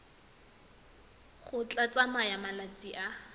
go tla tsaya malatsi a